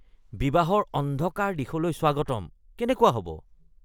“বিবাহৰ অন্ধকাৰ দিশলৈ স্বাগতম” কেনেকুৱা হ’ব?